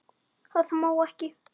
Það má ekki.